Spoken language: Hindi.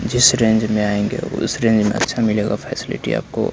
जीस रेंज में आएंगे उसे रेंज में अच्छा मिलेगा फैसिलिटी आपको--